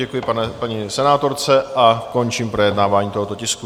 Děkuji paní senátorce a končím projednávání tohoto tisku.